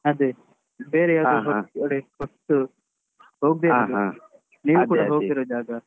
ಅದೆ ಬೇರೆ ಯಾವ್ದಾದ್ರು ಕಡೆ ಹೊಸ್ತು ಹೋಗ್ದೆ ಇರೋ ಜಾಗ ನೀವು ಕೂಡ ಹೋಗ್ದೆ ಇರೋ ಜಾಗ.